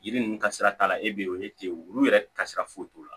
Yiri ninnu ka sira t'a la e bɛ yen o ye ten wulu yɛrɛ ka sira foyi t'o la